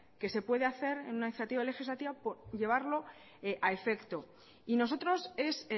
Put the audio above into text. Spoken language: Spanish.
que se puede hacer en una iniciativa legislativa llevarlo a efecto y nosotros es